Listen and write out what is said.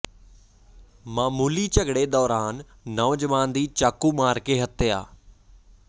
ਮਾਮੂਲੀ ਝਗੜੇ ਦੌਰਾਨ ਨੌਜਵਾਨ ਦੀ ਚਾਕੂ ਮਾਰ ਕੇ ਹੱਤਿਆ